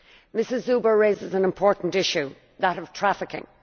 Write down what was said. Ms Zuber raises an important issue that of trafficking.